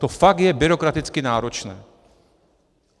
To fakt je byrokraticky náročné.